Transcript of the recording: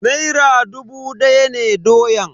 Naira dubu daya ne doyan.